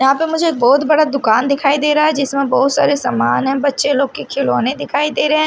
यहां पे मुझे बहुत बड़ा दुकान दिखाई दे रहा है जिसमें बहुत सारे सामान है बच्चे लोग के खिलौने दिखाई दे रहें--